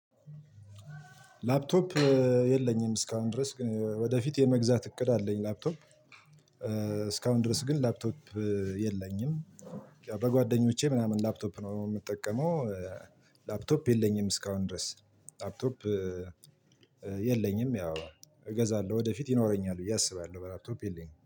ላፕቶፕ የለኝም እስካሁን ድረስ። ግን ወደፊት የመግዛት እቅድ አለኝ ላፕቶፕ። እስካሁን ድረስ ግን ላፕቶፕ የለኝም። በጓደኞቼ ምናምን ላፕቶፕ ነው የምጠቀመው። ላፕቶፕ የለኝም እስካሁን ድረስ ላፕቶፕ የለኝም። ያው እገዛለሁ ወደፊት ይኖረኛል ብዬ አስባለሁ። ላፕቶፕ የለኝም።